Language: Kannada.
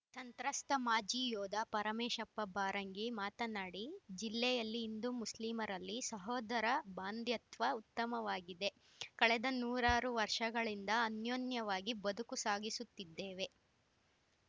ತಂತ್ರಸ್ತ ಮಾಜಿ ಯೋಧ ಪರಮೇಶಪ್ಪ ಬಾರಂಗಿ ಮಾತನಾಡಿ ಜಿಲ್ಲೆಯಲ್ಲಿ ಹಿಂದೂಮುಸ್ಲಿಂರಲ್ಲಿ ಸಹೋದರ ಭಾಂಧ್ಯತ್ವ ಉತ್ತಮವಾಗಿದೆ ಕಳೆದ ನೂರಾರು ವರ್ಷಗಳಿಂದ ಅನ್ಯೋನ್ಯವಾಗಿ ಬದುಕು ಸಾಗಿಸುತ್ತಿದ್ದೇವೆ